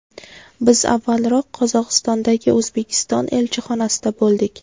Biz avvalroq Qozog‘istondagi O‘zbekiston elchixonasida bo‘ldik.